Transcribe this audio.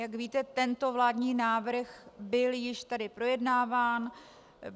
Jak víte, tento vládní návrh byl již tedy projednáván.